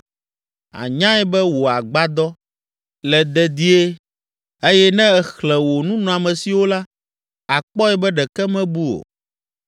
Ànyae be wò agbadɔ le dedie eye ne èxlẽ wò nunɔamesiwo la, àkpɔe be ɖeke mebu o.